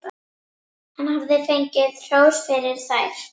Hann hafði fengið hrós fyrir þær.